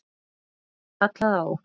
Þá var kallað á okkur.